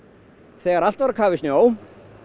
þegar allt var á kafi í snjó